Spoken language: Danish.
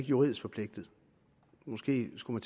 juridisk forpligtet måske skulle